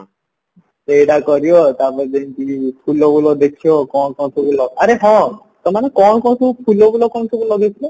ସେଇଟା କରିବ ତାପରେ ଯେମତି ଫୁଲ ବୁଲ ଦେଖିବ କଣ ଆରେ ହଁ ତମେ ମାନେ କଣ କଣ ଫୁଲ ବୁଲ ସବୁ ଲଗେଇଥିଲ